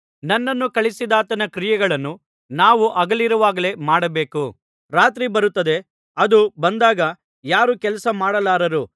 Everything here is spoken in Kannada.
ನನ್ನನ್ನು ಕಳುಹಿಸಿದಾತನ ಕ್ರಿಯೆಗಳನ್ನು ನಾವು ಹಗಲಿರುವಾಗಲೇ ಮಾಡಬೇಕು ರಾತ್ರಿ ಬರುತ್ತದೆ ಅದು ಬಂದಾಗ ಯಾರೂ ಕೆಲಸ ಮಾಡಲಾರರು